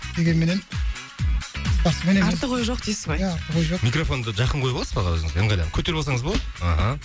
дегенменен спортсмен емеспіз артық ой жоқ дейсіз ғой иә артық ой жоқ микрофонды жақын қойып аласыз ба аға өзіңізге ыңғайланып көтеріп алсаңыз болады аха